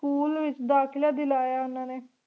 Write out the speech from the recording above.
school ਵਿਚ ਦਾਖਲਾ ਦਿਲਾਯਾ ਓਹਨਾ ਨੀ